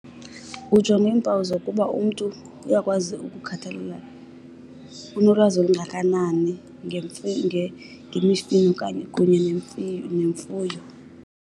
Ujonga iimpawu zokuba umntu uyakwazi ukukhathalela, unolwazi olungakanani ngemifino okanye kunye nemfuyo.